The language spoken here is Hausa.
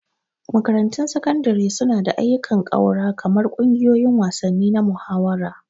Makarantun Sakandare suna ba da ayyukan ƙaura kamar ƙungiyoyin wasanni na muhawara.